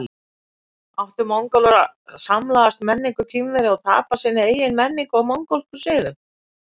Áttu Mongólar að samlagast menningu Kínverja og tapa sinni eigin menningu og mongólskum siðum?